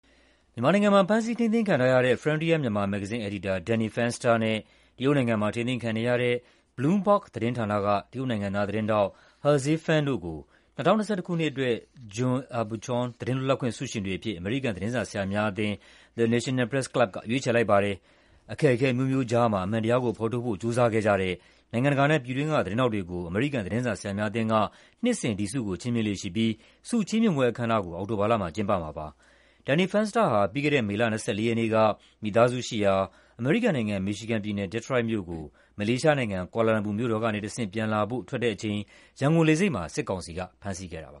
မြန်မာနိုင်ငံမှာ ဖမ်းဆီးထိန်းသိမ်းခံထားရတဲ့ Frontier Myanmar မဂ္ဂဇင်း အယ်ဒီတာ Danny Fenster နဲ့ တရုတ်နိုင်ငံမှာ ထိန်းသိမ်းခံနေရတဲ့ Bloomberg သတင်းဌာနက တရုတ်နိုင်ငံသား သတင်းထောက် Haze Fan တို့ကို ၂၀၂၁ ခုနှစ်အတွက် John Aubuchon သတင်းလွတ်လပ်ခွင့် ဆုရှင်တွေအဖြစ် အမေရိကန် သတင်းစာဆရာများအသင်း (The National Press Club) က ရွေးချယ်လိုက်ပါတယ်။ အခက်အခဲအမျိုးမျိုးကြားမှာ အမှန်တရားကိုဖော်ထုတ်ဖို့ ကြိုးစားခဲ့ကြတဲ့ နိုင်ငံတကာနဲ့ ပြည်တွင်းက သတင်းထောက်တွေကို အမေရိကန် သတင်းစာဆရာများအသင်းက နှစ်စဉ် John Aubuchon ဆု ချီးမြှင့်လေ့ရှိပြီး ဆုချီးမြှင့်ပွဲအခမ်းအနားကို အောက်တိုဘာလမှာ ကျင်းပမှာပါ။ Danny Fenster ဟာ ပြီးခဲ့တဲ့ မေလ ၂၄ ရက်နေ့က မိသားစုရှိရာ အမေရိကန်နိုင်ငံ၊ မီရှီဂန်ပြည်နယ်၊ ဒီထရွိုက်မြို့ကို မလေးရှားနိုင်ငံ၊ ကွာလာလမ်ပူမြို့တော်ကနေတဆင့် ပြန်လာဖို့ ထွက်တဲ့အချိန် ရန်ကုန်လေဆိပ်မှာ စစ်ကောင်စီက ဖမ်းဆီးခဲ့တာပါ